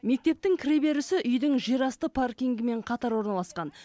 мектептің кіреберісі үйдің жерасты паркингімен қатар орналасқан